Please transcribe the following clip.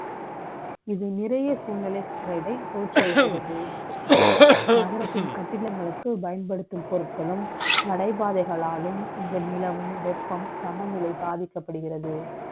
இது, நிறை ய சூழ்நிலை கே டை, த ோற்றுவிக்கிறது. நகரத்தின் கட்டிடங்களுக்கு, பயன்படுத்தும் ப ொருட்களும், நடை பாதை களாலும், இந்த நிலமும், வெ ப்பம், சமநிலை பாதிக்கப்படுகிறது.